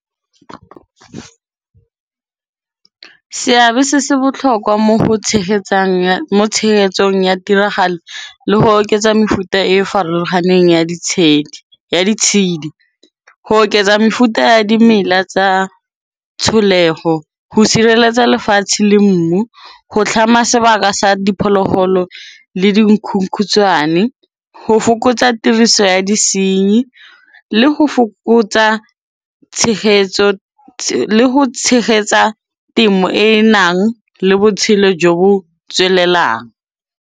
Seabe se se botlhokwa mo tshegetsong ya tiragalo le go oketsa mefuta e farologaneng ya ditshedi. Ho oketsa mefuta ya dimela tsa tsholego, ho sireletsa lefatshe le mmu, ho tlhama sebaka sa diphologolo le dikhunkhutshwane. Ho fokotsa tiriso ya disenyi le ho tshegetsa temo e e nang le botshelo jo bo tswelelang.